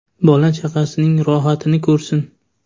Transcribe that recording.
Bola-chaqasining rohatini ko‘rsin.